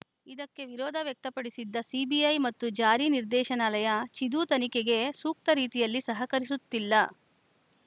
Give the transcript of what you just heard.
ಇದಕ್ಕೆ ವಿರೋಧ ವ್ಯಕ್ತಪಡಿಸಿದ್ದ ಸಿಬಿಐ ಮತ್ತು ಜಾರಿ ನಿರ್ದೇಶನಾಲಯ ಚಿದು ತನಿಖೆಗೆ ಸೂಕ್ತ ರೀತಿಯಲ್ಲಿ ಸಹಕರಿಸುತ್ತಿಲ್ಲ